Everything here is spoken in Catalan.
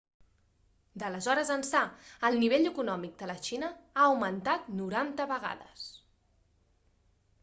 d'aleshores ençà el nivell econòmic de la xina ha augmentat 90 vegades